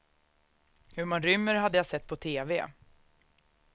Hur man rymmer hade jag sett på teve.